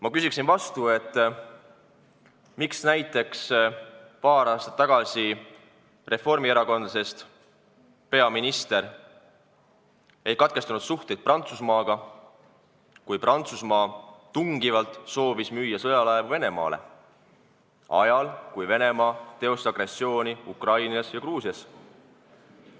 Ma küsin vastu, miks näiteks paar aastat tagasi reformierakondlasest peaminister ei katkestanud suhteid Prantsusmaaga, kui Prantsusmaa tungivalt soovis müüa sõjalaevu Venemaale ajal, kui Venemaa teostas agressiooni Ukrainas ja Gruusias.